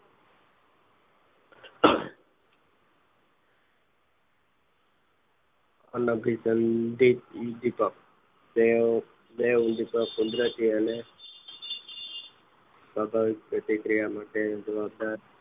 અભીસંધિત ઉદીપક તે તે ઉદીપક કુદરતી અને સમાન પ્રતિક્રિયા માટે જવાબદાર